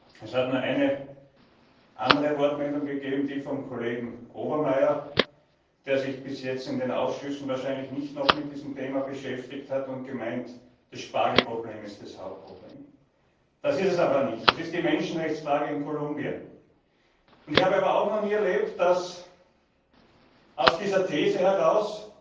Es hat nur eine andere Wortmeldung geben, die des Kollegen Obermayr, der sich bis jetzt in den Ausschüssen wahrscheinlich noch nicht mit diesem Thema beschäftigt hat und meint, das Spargel Problem sei das Hauptproblem. Das ist es aber nicht, es ist die Menschenrechtsfrage in Kolumbien! Ich habe aber auch noch nicht erlebt, dass aus dieser These heraus